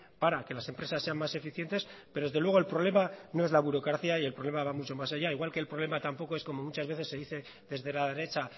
para que las empresas sean más eficientes pero desde luego el problema no es la burocracia y el problema va mucho más allá igual que el problema tampoco es como muchas veces se dice desde la derecha